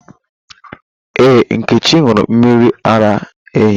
Ee, Nkechi ṅụrụ mmiri ara ehi.